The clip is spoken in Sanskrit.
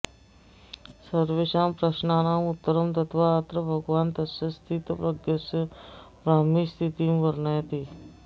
सर्वेषां प्रश्नानाम् उत्तरं दत्त्वा अत्र भगवान् तस्य स्थितप्रज्ञस्य ब्राह्मीस्थितिं वर्णयति